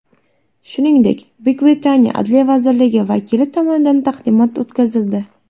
Shuningdek, Buyuk Britaniya Adliya vazirligi vakili tomonidan taqdimot o‘tkazildi.